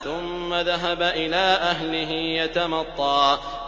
ثُمَّ ذَهَبَ إِلَىٰ أَهْلِهِ يَتَمَطَّىٰ